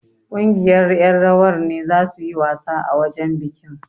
Ƙungiyar ƴan rawar ne zasu yi wasa a wajen bikin.